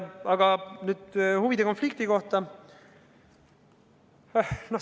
Aga nüüd huvide konflikti kohta.